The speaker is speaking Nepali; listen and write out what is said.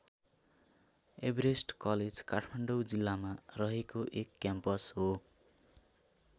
एभरेस्ट कलेज काठमाडौँ जिल्लामा रहेको एक क्याम्पस हो।